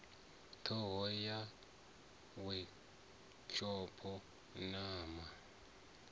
ṱhoho ya wekhishopho na ma